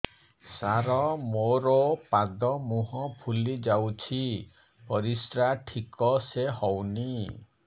ସାର ମୋରୋ ପାଦ ମୁହଁ ଫୁଲିଯାଉଛି ପରିଶ୍ରା ଠିକ ସେ ହଉନି